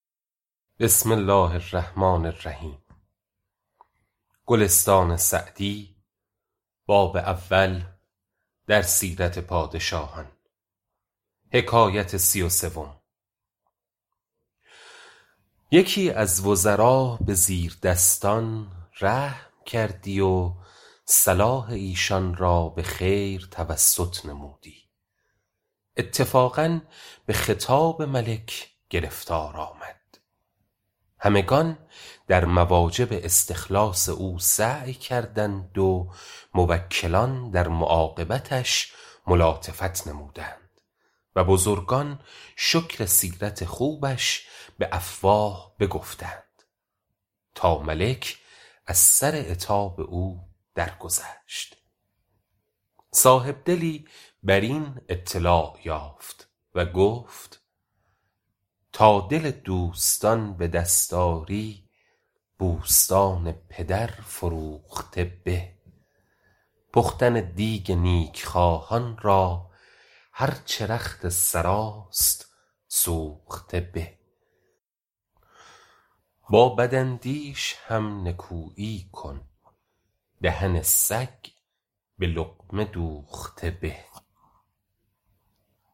یکی از وزرا به زیردستان رحم کردی و صلاح ایشان را به خیر توسط نمودی اتفاقا به خطاب ملک گرفتار آمد همگنان در مواجب استخلاص او سعی کردند و موکلان در معاقبتش ملاطفت نمودند و بزرگان شکر سیرت خوبش به افواه بگفتند تا ملک از سر عتاب او درگذشت صاحبدلی بر این اطلاع یافت و گفت ﺗﺎ دل دوﺳﺘﺎن ﺑﻪ دﺳﺖ ﺁری ﺑﻮﺳﺘﺎن ﭘﺪر ﻓﺮوﺧﺘﻪ ﺑﻪ پختن دیگ نیکخواهان را هر چه رخت سراست سوخته به ﺑﺎ ﺑﺪاﻧﺪﻳﺶ هم ﻧﻜﻮﻳﻰ کن دهن ﺳﮓ ﺑﻪ ﻟﻘﻤﻪ دوﺧﺘﻪ ﺑﻪ